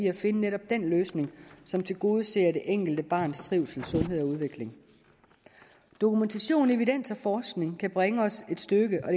at finde netop den løsning som tilgodeser det enkelte barns trivsel sundhed og udvikling dokumentation evidens og forskning kan bringe os et stykke og